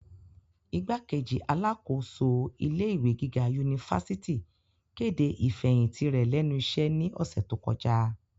Igbákejì alákòóso ilé ìwé gíga unifásitì kede ifẹhinti rẹ lẹnu iṣẹ ni ọsẹ to kọja.